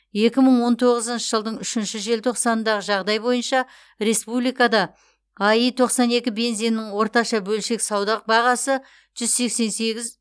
екі мың он тоғызыншы жылдың үшінші желтоқсанындағы жағдай бойынша республикада аи тоқсан екі бензинінің орташа бөлшек сауда бағасы жүз сексен сегіз